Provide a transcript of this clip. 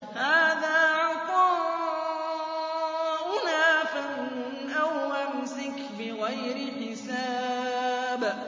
هَٰذَا عَطَاؤُنَا فَامْنُنْ أَوْ أَمْسِكْ بِغَيْرِ حِسَابٍ